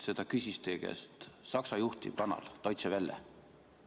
Seda küsis teie käest Saksa juhtiv kanal Deutsche Welle.